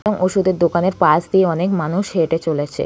এবং ওষুধের দোকানের পাশ দিয়ে অনেক মানুষ হেঁটে চলেছে।